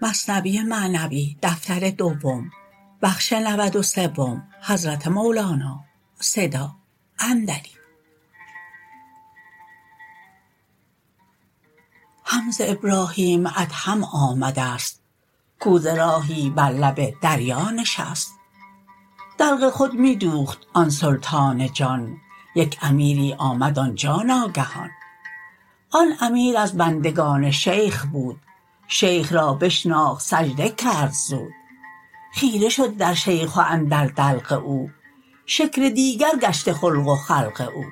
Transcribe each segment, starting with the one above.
هم ز ابراهیم ادهم آمدست کو ز راهی بر لب دریا نشست دلق خود می دوخت آن سلطان جان یک امیری آمد آنجا ناگهان آن امیر از بندگان شیخ بود شیخ را بشناخت سجده کرد زود خیره شد در شیخ و اندر دلق او شکل دیگر گشته خلق و خلق او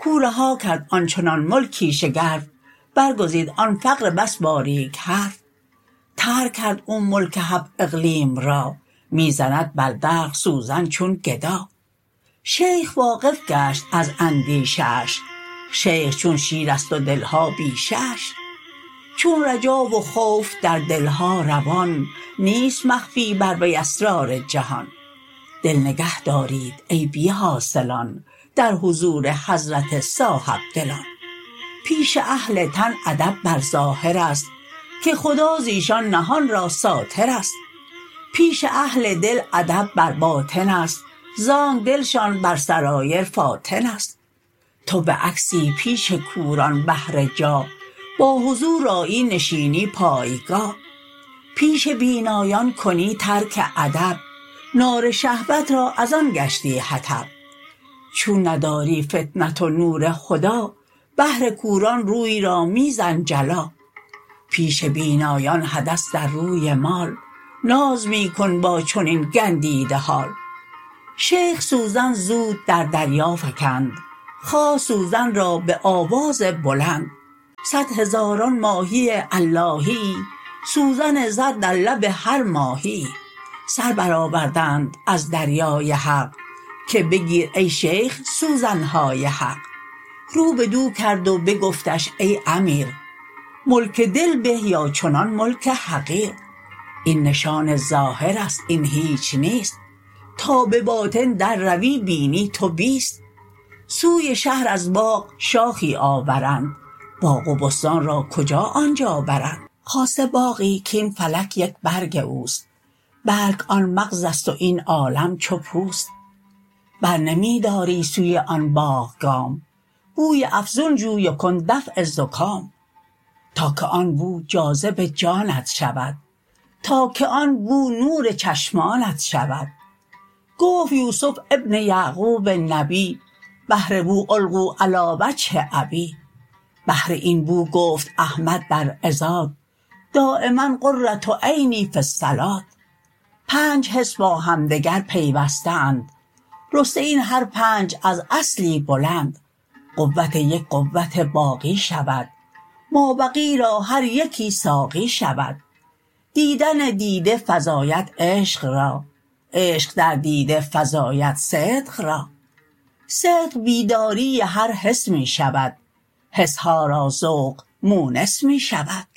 کو رها کرد آنچنان ملکی شگرف بر گزید آن فقر بس باریک حرف ترک کرد او ملک هفت اقلیم را می زند بر دلق سوزن چون گدا شیخ واقف گشت از اندیشه اش شیخ چون شیرست و دلها بیشه اش چون رجا و خوف در دلها روان نیست مخفی بر وی اسرار جهان دل نگه دارید ای بی حاصلان در حضور حضرت صاحب دلان پیش اهل تن ادب بر ظاهرست که خدا زیشان نهان را ساترست پیش اهل دل ادب بر باطنست زانک دلشان بر سرایر فاطنست تو بعکسی پیش کوران بهر جاه با حضور آیی نشینی پایگاه پیش بینایان کنی ترک ادب نار شهوت را از آن گشتی حطب چون نداری فطنت و نور هدی بهر کوران روی را می زن جلا پیش بینایان حدث در روی مال ناز می کن با چنین گندیده حال شیخ سوزن زود در دریا فکند خواست سوزن را به آواز بلند صد هزاران ماهی اللهیی سوزن زر در لب هر ماهیی سر بر آوردند از دریای حق که بگیر ای شیخ سوزنهای حق رو بدو کرد و بگفتش ای امیر ملک دل به یا چنان ملک حقیر این نشان ظاهرست این هیچ نیست تا بباطن در روی بینی تو بیست سوی شهر از باغ شاخی آورند باغ و بستان را کجا آنجا برند خاصه باغی کین فلک یک برگ اوست بلک آن مغزست و این عالم چو پوست بر نمی داری سوی آن باغ گام بوی افزون جوی و کن دفع زکام تا که آن بو جاذب جانت شود تا که آن بو نور چشمانت شود گفت یوسف ابن یعقوب نبی بهر بو القوا علی وجه ابی بهر این بو گفت احمد در عظات دایما قرة عینی فی الصلوة پنج حس با همدگر پیوسته اند رسته این هر پنج از اصلی بلند قوت یک قوت باقی شود ما بقی را هر یکی ساقی شود دیدن دیده فزاید عشق را عشق در دیده فزاید صدق را صدق بیداری هر حس می شود حسها را ذوق مونس می شود